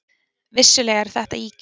Vissulega eru þetta ýkjur.